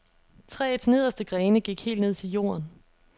Træets nederste grene gik helt ned til jorden.